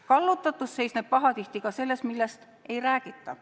Kallutatus seisneb pahatihti ka selles, millest ei räägita.